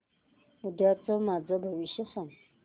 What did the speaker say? उद्याचं माझं भविष्य सांग